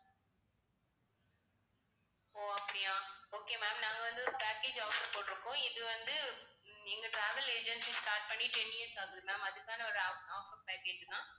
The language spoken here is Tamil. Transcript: ஓ அப்படியா okay ma'am நாங்க வந்து ஒரு package offer போட்டிருக்கோம். இது வந்து உம் எங்க travel agency start பண்ணி ten years ஆகுது ma'am அதுக்கான ஒரு off~ offer package ma'am